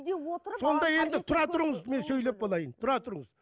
сонда енді тұра тұрыңыз мен сөйлеп болайын тұра тұрыңыз